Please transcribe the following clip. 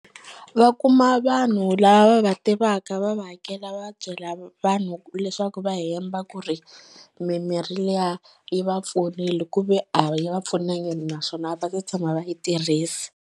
Va kuma vanhu lava va tivaka va va hakela va byela vanhu leswaku va hemba ku ri mimirhi liya yi va pfunile ku ve a yi va pfunangi naswona a va se tshama va yi tirhisa.